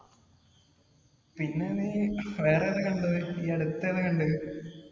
പിന്നെ നീ വേറെതാ കണ്ടത്. ഈ അടുത്തേതാ കണ്ടത്?